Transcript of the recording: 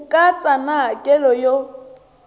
ku katsa na hakelo yo